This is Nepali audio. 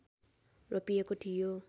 रोपिएको थियो